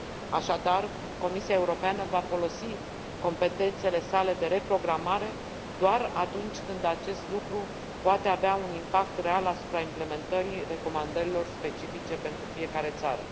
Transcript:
Așadar, Comisia Europeană va folosi competențele sale de reprogramare doar atunci când acest lucru poate avea un impact real asupra implementării recomandărilor specifice pentru fiecare țară.